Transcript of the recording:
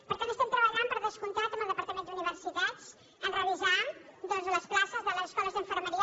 per tant estem treballant per descomptat amb el departament d’universitats a revisar doncs les places de les escoles d’infermeria